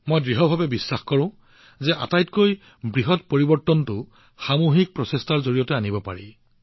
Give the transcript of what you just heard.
মোৰ অটল বিশ্বাস যে আটাইতকৈ ডাঙৰ পৰিৱৰ্তনটো সামূহিক প্ৰচেষ্টাৰ দ্বাৰাহে আনিব পাৰি